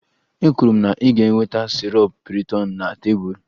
Ekwuru m na ị ga-eweta sirop piriton na tebụl